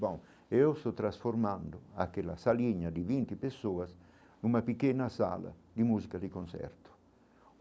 Bom, eu sou transformando aquela salinha de vinte pessoas numa pequena sala de música de concerto.